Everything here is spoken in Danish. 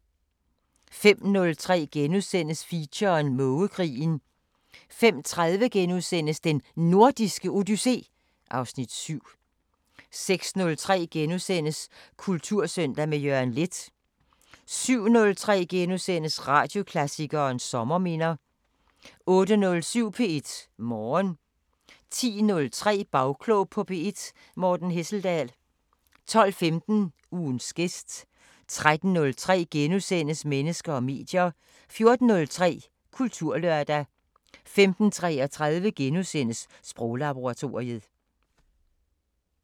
05:03: Feature: Mågekrigen * 05:30: Den Nordiske Odyssé (Afs. 7)* 06:03: Kultursøndag – med Jørgen Leth * 07:03: Radioklassikeren: Sommerminder * 08:07: P1 Morgen 10:03: Bagklog på P1: Morten Hesseldahl 12:15: Ugens gæst 13:03: Mennesker og medier * 14:03: Kulturlørdag 15:33: Sproglaboratoriet *